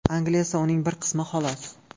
Angliya esa uning bir qismi, xolos.